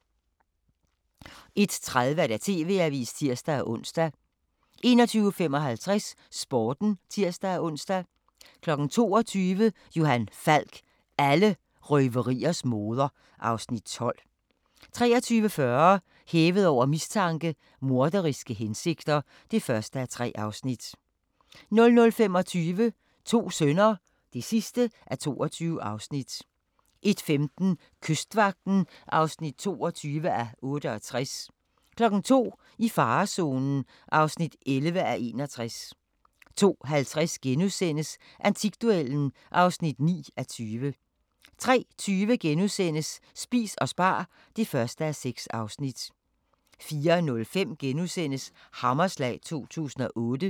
21:30: TV-avisen (tir-ons) 21:55: Sporten (tir-ons) 22:00: Johan Falk: Alle røveriers moder (Afs. 12) 23:40: Hævet over mistanke: Morderiske hensigter (1:3) 00:25: To sønner (22:22) 01:15: Kystvagten (22:68) 02:00: I farezonen (11:61) 02:50: Antikduellen (9:20)* 03:20: Spis og spar (1:6)* 04:05: Hammerslag 2008 *